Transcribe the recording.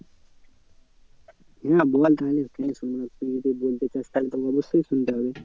হ্যাঁ বল তাহলে কেন শুনবো না তুই যদি বলতে চাস তাহলে তো অবশ্যই শুনতে হবে।